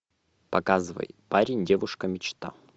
показывай парень девушка мечта